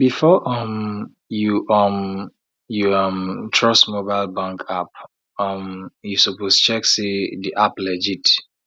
before um you um you um trust mobile bank app um you suppose check say the app legit